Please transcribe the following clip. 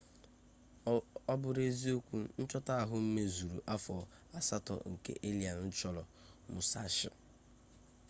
ọ bụrụ eziokwu nchọta ahụ mezuru afọ asatọ nke allen chọrọ musashi